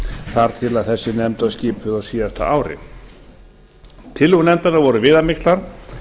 þar til þessi nefnd var skipuð á síðasta ári tillögur nefndarinnar voru viðamiklar